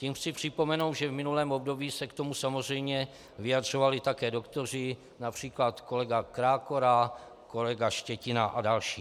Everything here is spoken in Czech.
Tím chci připomenout, že v minulém období se k tomu samozřejmě vyjadřovali také doktoři, například kolega Krákora, kolega Štětina a další.